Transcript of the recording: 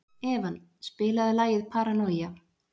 Evan, spilaðu lagið „Paranoia“.